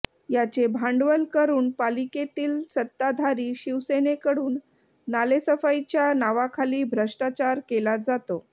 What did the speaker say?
याचे भांडवल करून पालिकेतील सत्ताधारी शिवसेनेकडून नालेसफाईच्या नावाखाली भ्रष्टाचार केला जातो